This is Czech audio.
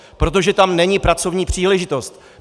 Protože tam není pracovní příležitost.